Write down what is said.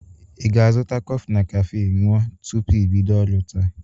Ị ga-azụta kọfị na kafe ñụa tupu i bido ọrụ taa?